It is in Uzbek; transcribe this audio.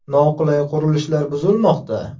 Noqonuniy qurilishlar buzilmoqda.